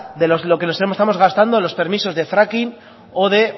de lo que nos estamos gastando en los permisos de fracking o de